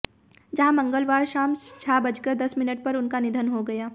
जहां मंगलवार शाम छह बजकर दस मिनट पर उनका निधन हो गया